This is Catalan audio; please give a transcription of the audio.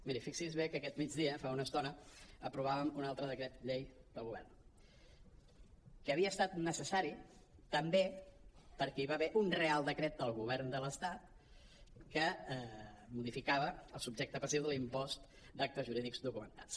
miri fixi’s bé que aquest migdia fa una estona aprovàvem un altre decret llei del govern que havia estat necessari també perquè hi va haver un reial decret del govern de l’estat que modificava el subjecte passiu de l’impost d’actes jurídics documentats